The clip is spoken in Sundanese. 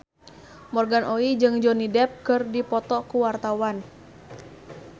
Morgan Oey jeung Johnny Depp keur dipoto ku wartawan